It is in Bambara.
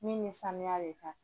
Min ye sanuya de kan.